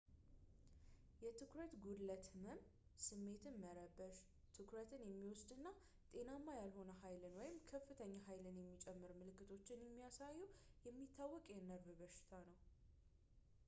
የትኩረት ጉድለት ህመም ስሜትን መረበሽ ትኩረትን የሚወስድ እና ጤናማ ያልሆነ ኃይልን ወይም ከፍተኛ ኃይል የሚጨምር ምልክቶችን የሚያሳዩ የሚታወቅ የነርቭ በሽታ ነው